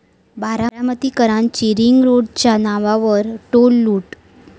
बारामतीकरांची रिंगरोडच्या नावावर टोल लूट